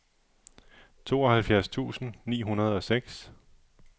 tooghalvfjerds tusind ni hundrede og seks